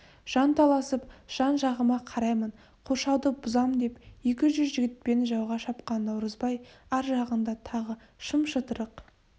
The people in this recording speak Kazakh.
жанталасып жан-жағыма қараймын қоршауды бұзам деп екі жүз жігітпен жауға шапқан наурызбай ар жағында тағы шым-шытырық